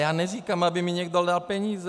Já neříkám, aby mi někdo dal peníze.